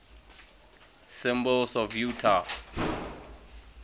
symbols of utah